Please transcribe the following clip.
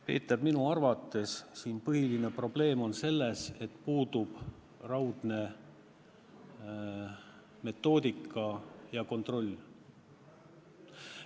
Peeter, minu arvates on põhiline probleem selles, et puudub raudne metoodika ja kontroll.